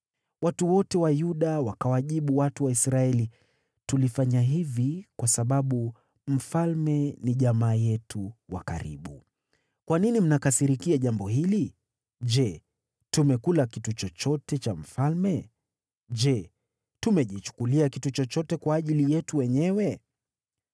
Watu wote wa Yuda wakawajibu watu wa Israeli, “Tulifanya hivi kwa sababu mfalme ni jamaa yetu wa karibu. Kwa nini mnakasirikia jambo hili? Je, tumekula kitu chochote cha mfalme? Je, tumejichukulia kitu chochote kwa ajili yetu wenyewe?”